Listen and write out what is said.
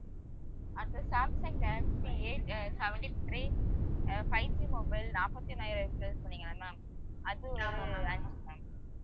அடுத்தது Samsung Galaxy A uh seventy three uh 5G mobile நாப்பத்தி நாலாயிரத்துல சொன்னிங்கல்ல ma'am அது ஒரு அஞ்சு ma'am